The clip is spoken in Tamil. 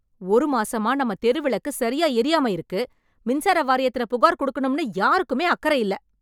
ஒரு மாசமா நம்ம தெருவிளக்கு சரியா எரியாம இருக்கு... மின்சார வாரியத்துல புகார் கொடுக்கணும்னு யாருக்குமே அக்கறை இல்ல.